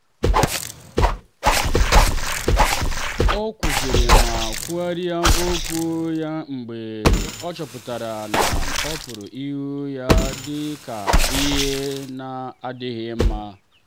ọ kwụsịrị ma kwugharịa okwu ya mgbe ọ chọpụtara na a pụrụ ịhụ ya dị ka ihe na-adịghị mma.